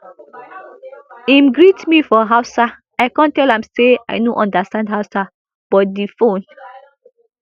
im greet me for hausa i kon tell am say i no understand hausa but di phone